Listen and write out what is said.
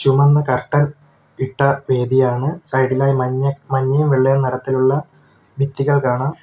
ചുമന്ന കർട്ടൻ ഇട്ട വേദിയാണ് സൈഡ് ഇലായി മഞ്ഞ മഞ്ഞയും വെള്ളയും നിറത്തിലുള്ള ഭിത്തികൾ കാണാം.